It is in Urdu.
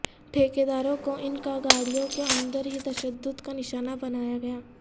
ٹھیکیداروں کو ان کا گاڑیوں کے اندر ہی تشدد کا نشانہ بنایا گیا